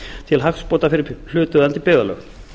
til hagsbóta fyrir hlutaðeigandi byggðarlög